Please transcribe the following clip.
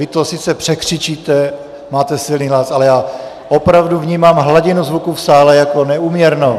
Vy to sice překřičíte, máte silný hlas, ale já opravdu vnímám hladinu zvuku v sále jako neúměrnou.